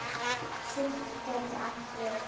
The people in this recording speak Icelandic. Surtur gæti átt við